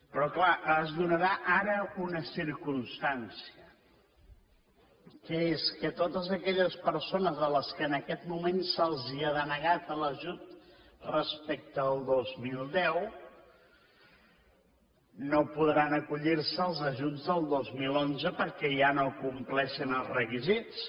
però clar es donarà ara una circumstància que és que totes aquelles persones a les quals en aquest moment se’ls ha denegat l’ajut respecte al dos mil deu no podran acollir se als ajuts del dos mil onze perquè ja no compleixen els requisits